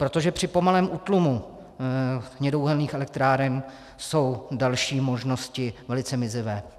Protože při pomalém útlumu hnědouhelných elektráren jsou další možnosti velice mizivé.